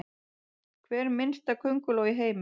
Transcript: Hver minnsta könguló í heimi?